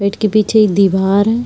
Gate के पीछे एक दीवार है।